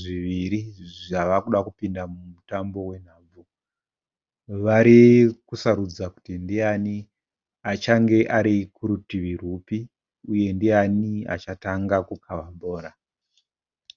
zviviri zvavakuda kupinda mumutambo wenhabvu. Vari kusarudza kuti ndiyani achenge ari kurutivi rwupi uye ndiani achatanga kukava bhora.